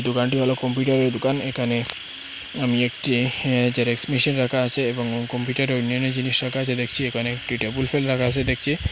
দুকানটি হলো কম্পিউটারে র দুকান এখানে আমি একটি জেরেক্স মেশিন রাখা আছে এবং কম্পিউটারে র ওই মেনের জিনিস রাখা আছে দেখছি এখানে একটি টেবুল ফ্যান রাখা আছে দেখছি।